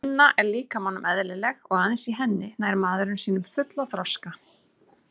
Vinna er líkamanum eðlileg og aðeins í henni nær maðurinn sínum fulla þroska.